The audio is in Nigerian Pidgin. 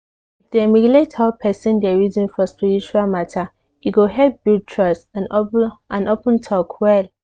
if dem relate how person dey reason for spiritual matter e go help build trust and open talk well.